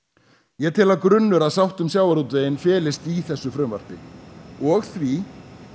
ég tel að grunnur að sátt um sjávarútveginn felist í þessu frumvarpi og því